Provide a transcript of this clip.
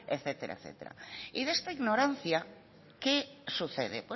etcétera y de esta ignorancia qué sucede